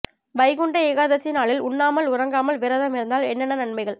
வைகுண்ட ஏகாதசி நாளில் உண்ணாமல் உறங்காமல் விரதம் இருந்தால் என்னென்ன நன்மைகள்